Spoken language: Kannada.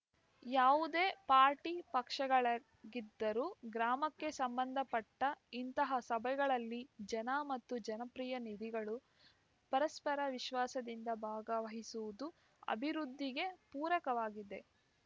ಯಾವುದೇ ಪಾರ್ಟಿ ಪಕ್ಷಗಳಾಗಿದ್ದರೂ ಗ್ರಾಮಕ್ಕೆ ಸಂಬಂಧಪಟ್ಟಇಂತಹ ಸಭೆಗಳಲ್ಲಿ ಜನ ಮತ್ತು ಜನಪ್ರತಿನಿಧಿಗಳು ಪರಸ್ಪರ ವಿಶ್ವಾಸದಿಂದ ಭಾಗವಹಿಸುವುದು ಅಭಿವೃದ್ಧಿಗೆ ಪೂರಕವಾಗಿದೆ